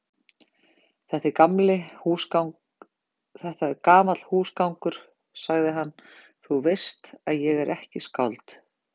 Þetta er gamall húsgangur, sagði hann,-þú veist að ég er ekki skáld.